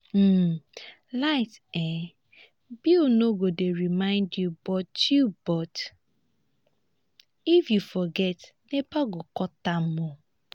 um light um bill no go dey remind you but you but if you forget nepa go cut am. um